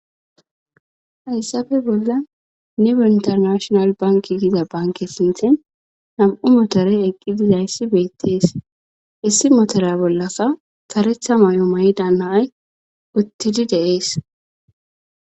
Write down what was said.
hayssafe bolla nibe intanashonal banki gida banke sinthen nam7u motore eqqidizayssi beettees issi motora bollasa saretha may7o mayda naay uttidi de'ees